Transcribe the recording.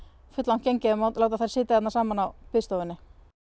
fulllangt gengið að láta þær sitja þarna saman á biðstofunni